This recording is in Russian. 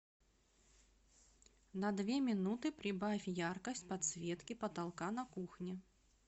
на две минуты прибавь яркость подсветки потолка на кухне